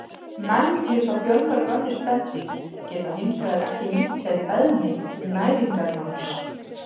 Menn, líkt og fjölmörg önnur spendýr, geta hins vegar ekki nýtt sér beðmi til næringarnáms.